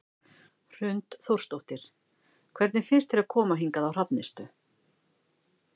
Hrund Þórsdóttir: Hvernig finnst þér að koma hingað á Hrafnistu?